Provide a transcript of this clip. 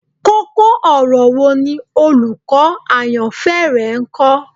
Koko-ọrọ wo ni olukọ ayanfẹ rẹ kọ?